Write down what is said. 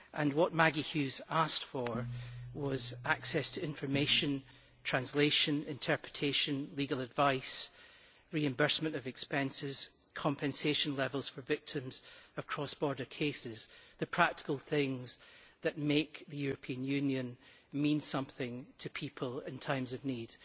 What Maggie Hughes asked for was access to information, translation, interpretation, legal advice, reimbursement of expenses and compensation for victims of cross border cases the practical things that make the European Union mean something to people in times of need.